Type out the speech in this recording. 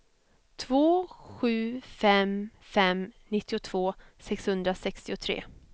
två sju fem fem nittiotvå sexhundrasextiotre